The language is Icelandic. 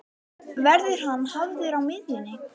Verður hann hafður á miðjunni?